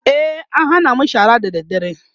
e an Hana mu shara da dadre